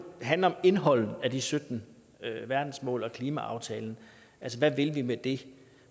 handle om indholdet af de sytten verdensmål og klimaaftalen altså hvad vil vi med det